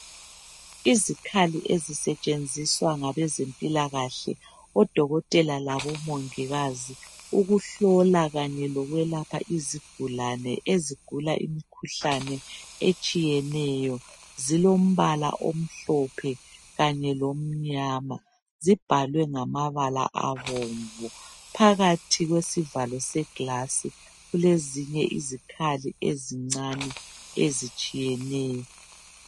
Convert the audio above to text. Izikhali ezisetshenziswa ngabe zempilakahle odokotela labomongikazi ukuhlola kanye lokwelapha izigulane ezigula imikhuhlane etshiyeneyo. Zilombala omhlophe kanye lomnyama zibhalwe ngamabala abomvu phakathi sivalo segilasi kulezinye izikhali ezincane ezitshiyeneyo.